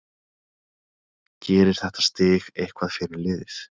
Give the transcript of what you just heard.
Gerir þetta stig eitthvað fyrir liðið?